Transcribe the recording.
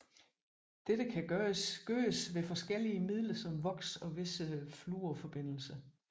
Dette kan gøres ved forskellige midler som voks og visse fluorforbindelser